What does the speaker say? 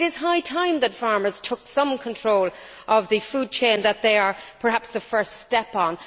It is high time that farmers took some control of the food chain that they are the first step on.